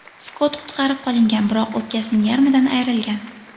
Skott qutqarib qolingan, biroq o‘pkasining yarmidan ayrilgan.